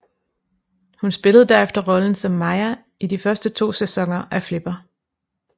Hun spillede derefter rollen som Maya i de to første sæsoner af Flipper